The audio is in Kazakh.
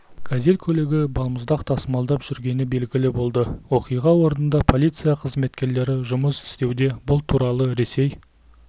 газель көлігі балмұздақ тасымалдап жүргені белгілі болды оқиға орнынада полиция қызметкерлері жұмыс істеуде бұл туралы ресей